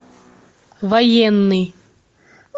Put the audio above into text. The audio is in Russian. военный